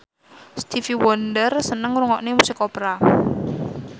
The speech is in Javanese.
Stevie Wonder seneng ngrungokne musik opera